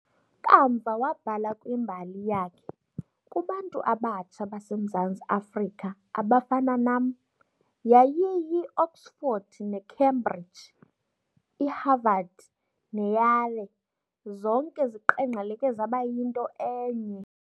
Kamva wabhala kwimbali yakhe- "Kubantu abatsha baseMzantsi Afrika abafana nam, yayiyiOxford neCambridge, iHarvard neYale, zonke ziqengqeleke zaba yinto enye."